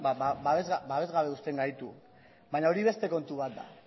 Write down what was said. babes gabe uzten gaitu baina hori beste kontu bat da